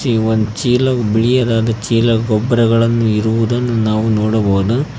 ಈ ಒಂದ್ ಚೀಲ ಬಿಳಿಯದಾದ ಚೀಲ ಗೊಬ್ಬರಗಳನ್ನು ಇರುವುದನ್ನು ನಾವು ನೋಡಬಹುದು.